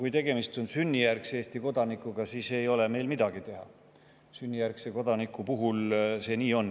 Kui tegemist on sünnijärgse Eesti kodanikuga, siis ei ole meil midagi teha – sünnijärgse kodaniku puhul ongi nii.